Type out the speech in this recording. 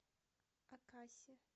акаси